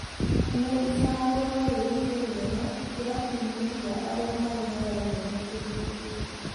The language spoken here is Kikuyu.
Nĩ icagũro rĩrĩko rĩega kĩrabu-inĩ kĩa arĩa marĩaga nyeni Kĩribĩ?